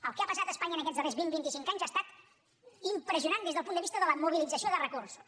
el que ha passat a espanya en aquests darrers vint vinti cinc anys ha estat impressionant des del punt de vista de la mobilització de recursos